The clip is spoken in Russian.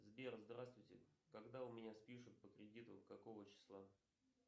сбер здравствуйте когда у меня спишут по кредиту какого числа